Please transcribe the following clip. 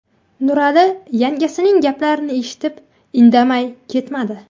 Nurali yangasining gaplarini eshitib, indamay ketmadi.